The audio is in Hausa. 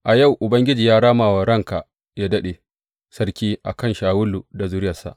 A yau Ubangiji ya rama wa ranka yă daɗe sarki, a kan Shawulu da zuriyarsa.